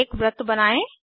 एक वृत्त बनायें